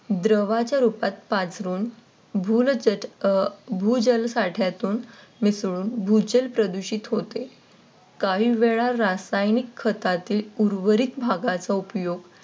द्रवाच्या रूपात पाझरून भूजल साठ्यातून मी सोडून भूजल प्रदूषित होते. काही वेळा रासायनिक खतातील उर्वरित भागाचा उपयोग